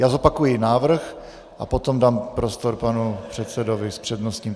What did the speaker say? Já zopakuji návrh a potom dám prostor panu předsedovi s přednostním.